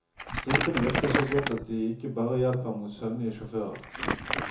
Stripene virker så godt at de ikke bare hjelper mot søvnige sjåfører.